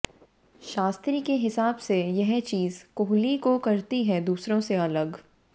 शास्त्री के हिसाब से यह चीज कोहली को करती है दूसरों से अलग